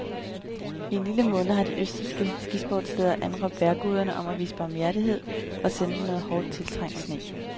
I en lille måned har de østrigske skisportssteder anråbet vejrguderne om at vise barmhjertighed og sende dem noget hårdt tiltrængt sne.